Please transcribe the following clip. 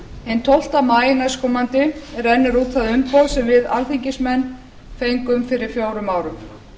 hinn tólfta maí næstkomandi rennur út það umboð sem við alþingismenn fengum fyrir fjórum árum